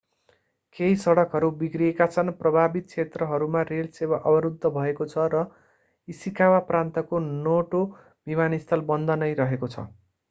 केही सडकहरू बिग्रिएका छन् प्रभावित क्षेत्रहरूमा रेल सेवा अवरूद्ध भएको छ र इशिकावा प्रान्तको नोटो विमानस्थल बन्द नै रहेको छ